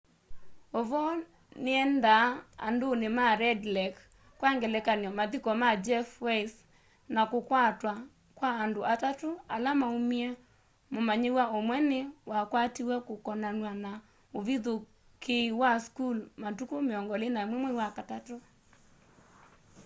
uvoo niendaa anduni ma red lake kwa ngelekany'o mathiko ma jeff weise na kukwatwa kwa andu atatu ala maumie mumanyiwa umwe ni wakwatiwe kukonanywa na uvithukii wa school matuku 21 mwai wa katatu